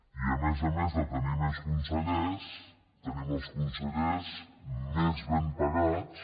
i a més a més de tenir més consellers tenim els consellers més ben pagats